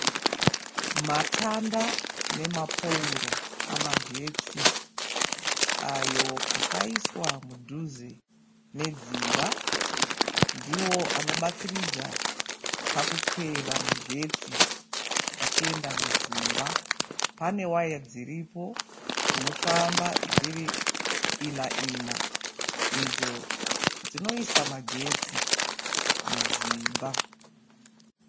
Matanda nemapouro amagetsi ayo akaiswa mudhuze medzimba ndiwo anobatsiridza pakukweva magetsi achienda mudzimba pane waya dziripo dzinofamba dziri ina ina idzo dzinoisa magetsi mudzimba.